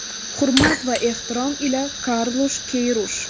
Hurmat va ehtirom ila, Karlush Keyrush”.